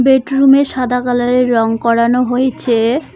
এই টো রুম -এ সাদা কালার -এর রং করানো হয়েছে।